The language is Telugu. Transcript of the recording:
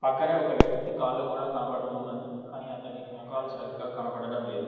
పక్కనే ఒక వ్యక్తి కాళ్ళు కూడా కనబడుతూ ఉన్నది కనీ అతని మొఖాలు సరిగ్గా కనబడడం లేదు.